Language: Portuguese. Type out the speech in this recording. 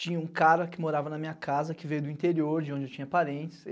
Tinha um cara que morava na minha casa, que veio do interior, de onde eu tinha parentes.